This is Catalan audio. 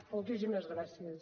moltíssimes gràcies